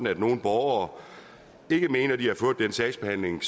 at nogle borgere ikke mener at de har fået den sagsbehandling